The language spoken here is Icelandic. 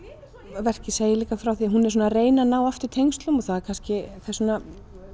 verkið segir líka frá því að hún er að reyna að ná aftur tengslum og það er kannski þess vegna